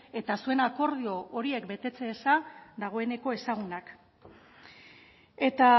eta zuen akordio horiek betetze eza dagoeneko ezagunak eta